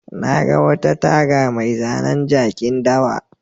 Na ga wata taga mai zanen jakin dawa.